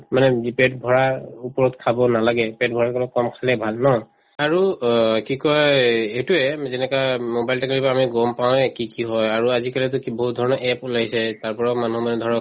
মানে যি পেট ভৰাৰ ওপৰত খাব নালাগে পেট ভৰাৰ কম খালে ভাল ন আৰু অ কি কই এইটোয়ে যেনেকুৱা mobile technology ৰ পৰা আমি গম পাওয়ে কি কি হয় আৰু আজিকালিতো কি বহুত ধৰণৰ APP ওলাইছে তাৰপৰাও মানুহে মানে ধৰক